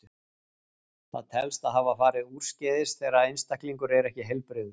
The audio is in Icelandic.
Það telst hafa farið úrskeiðis þegar einstaklingur er ekki heilbrigður.